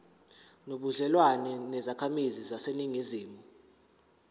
nobudlelwane nezakhamizi zaseningizimu